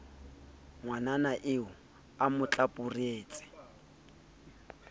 ngwanana eo a mo tlapuretse